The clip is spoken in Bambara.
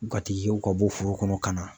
Ŋatigikɛw ka bɔ foro kɔnɔ ka na